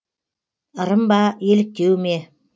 ырым ба еліктеу ме